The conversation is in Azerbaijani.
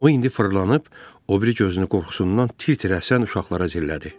O indi fırlanıb o biri gözünü qorxusundan tir-tir əsən uşaqlara zillədi.